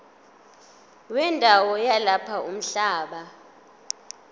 wendawo yalapho umhlaba